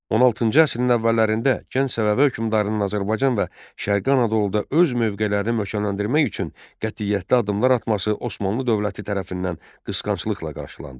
16-cı əsrin əvvəllərində gənc Səfəvi hökmdarının Azərbaycan və Şərqi Anadoluda öz mövqelərini möhkəmləndirmək üçün qətiyyətli addımlar atması Osmanlı dövləti tərəfindən qısqanclıqla qarşılandı.